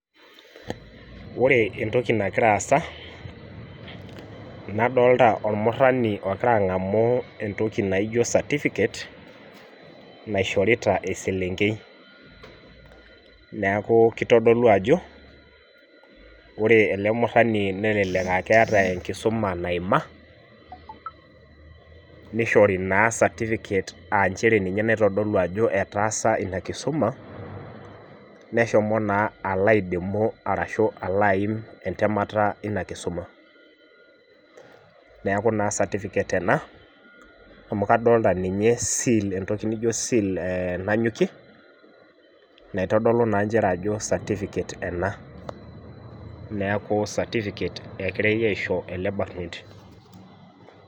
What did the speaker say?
Wore entoki nakira aasa, nadolita olmurrani okira angamu entoki naijo certificate naishorita eselenkei. Neeku kitodolu ajo, wore ele murrani nelelek aa keeta enkisuma naima, nishori naa certificate aa nchere ninye naitodolu ajo etaasa ina kisuma, neshomo naa alo aidimu arashu alo aimm entemata einia kisuma. Neeku naa certificate ena, amu kadoolta ninye seal entoki nijo seal nanyokie, naitodolu naa nchere ajo certificate ena. Neeku certificate ekirai aaisho ele barnoti.